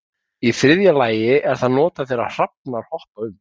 Í þriðja lagi er það notað þegar hrafnar hoppa um.